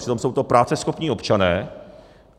Přitom jsou to práceschopní občané.